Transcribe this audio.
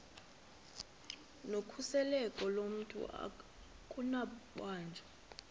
nokhuseleko lomntu akunakubanjwa